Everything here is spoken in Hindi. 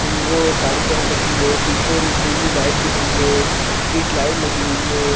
उ वो साड़ी पहन रखी है पीछे नीली लाइट दिख रही है स्ट्रीट लाइट लगी हुई हैं ।